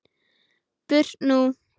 Burt nú!